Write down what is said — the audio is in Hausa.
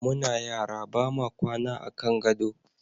Muna yara ba ma kwana a kan gado.